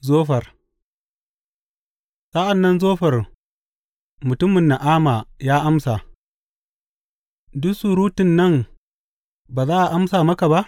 Zofar Sa’an nan Zofar mutumin Na’ama ya amsa, Duk surutun nan ba za a amsa maka ba?